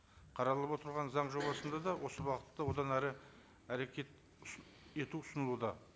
қаралып отырған заң жобасында да осы бағытта одан әрі әрекет ету ұсынылуда